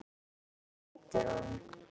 Hvað heitir hún?